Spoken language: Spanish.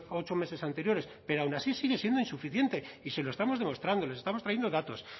ocho meses anteriores pero aun así sigue siendo insuficiente y se lo estamos demostrando les estamos trayendo datos